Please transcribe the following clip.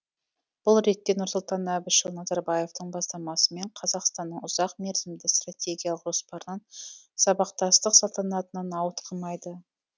бұл ретте нұрсұлтан әбішұлы назарбаевтың бастамасымен қазақстанның ұзақ мерзімді стартегиялық жоспарынан сабақтастық салтанатынан ауытқымайды